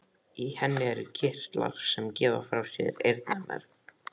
Í henni eru kirtlar sem gefa frá sér eyrnamerg.